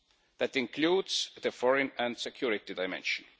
That includes the foreign and security dimension.